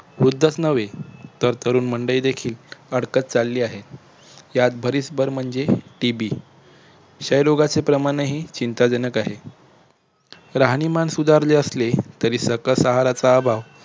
वृद्धच नव्हे तर तरुणमंडळी देखील अडकत चालली आहे यात भरीसभर म्हणजे TB क्षयरोगाचे प्रमाणही चिंताजनक आहे. राहणीमान सुधारले असले तरी सकस आहाराचा अभाव